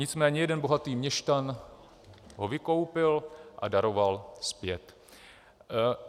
Nicméně jeden bohatý měšťan ho vykoupil a daroval zpět.